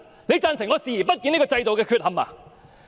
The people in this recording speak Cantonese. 你贊成我視而不見這制度的缺憾嗎？